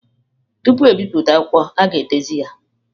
Tupu ebipụta akwụkwọ, a ga-edezi ya.